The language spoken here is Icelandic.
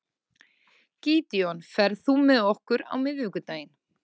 Gídeon, ferð þú með okkur á miðvikudaginn?